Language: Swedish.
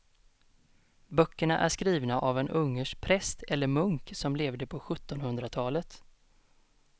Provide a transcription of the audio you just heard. Böckerna är skrivna av en ungersk präst eller munk som levde på sjuttonhundratalet.